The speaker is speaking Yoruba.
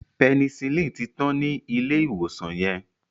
Penicillin tí tán ní ilé ìwòsan yen.